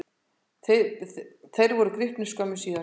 Þeir voru gripnir skömmu síðar.